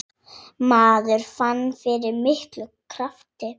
Maður fann fyrir miklum krafti.